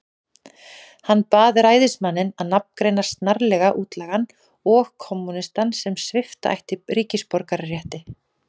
Hann bað ræðismanninn að nafngreina snarlega útlagann og kommúnistann, sem svipta ætti ríkisborgararétti.